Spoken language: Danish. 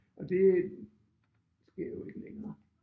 Og det sker jo ikke længere